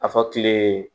A fɔ kile